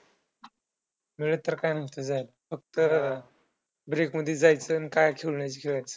मिळत त काही नसतंय जायला फक्त break मधीच जायचं अन काय खेळायचं ते खेळून यायचं.